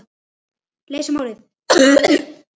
Leysa málið.